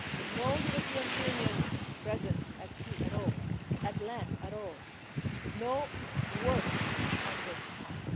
No European Union presence at sea at all, at land at all, no work on this file.